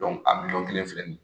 a miliyɔn kelen filɛ nin ye